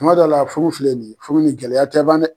Kuma dɔ la furu filɛ nin ye furu ni gɛlɛya tɛ ban dɛ.